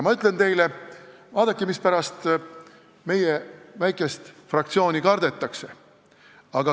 Ma ütlen teile, mispärast meie väikest fraktsiooni kardetakse.